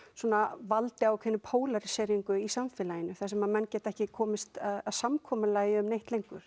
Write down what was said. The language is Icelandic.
valdið ákveðinni í samfélaginu sem menn geta ekki komist að samkomulagi um neitt lengur